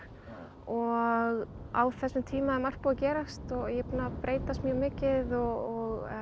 og á þessum tíma er margt búið að gerast og ég er búin að breytast mjög mikið og